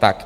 Tak.